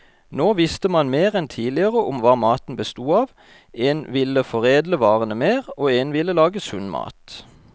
Nå visste man mer enn tidligere om hva maten bestod av, en ville foredle varene mer, og en ville lage sunn mat.